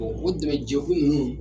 Bon o dɛmɛ jɛ kulu ninnu